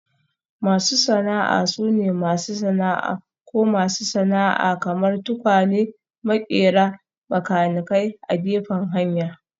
Masu sana'a sune masu sana'a ko masu sana'a kamar; tukwane, maƙera, makanikai a gefen hanya